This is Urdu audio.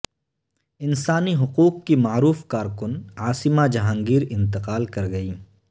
انسانی حقوق کی معروف کارکن عاصمہ جہانگیر انتقال کر گئیں